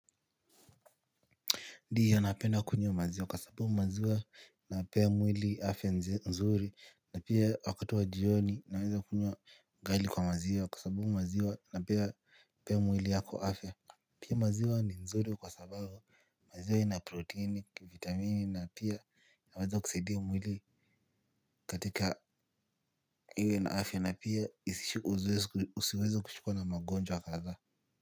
Ndio napenda kunywa maziwa kwa sababu maziwa inapea mwili afya nzuri. Na pia wakati wa jioni naweza kunywa ugali kwa maziwa kwa sababu maziwa inapea mwili yako afya pia maziwa ni nzuri kwa sababu maziwa ina protini, vitamini na pia inaweza kusaidia mwili katika iwe na afya na pia usiweze kushikwa na magonjwa kathaa.